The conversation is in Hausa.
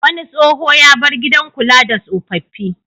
Wani tsoho ya bar gidan kula da tsofaffi.